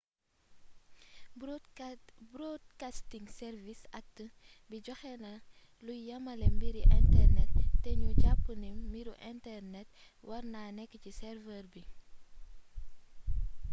broadcasting service act bi joxéna luy yamalé mbiri internet té gnu japp ni mbiru internet warna nékk ci server bi